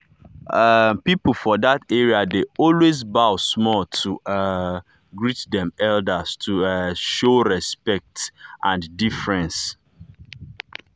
um people for that area dey always bow small to um greet dem elders to um show respect show respect and deference.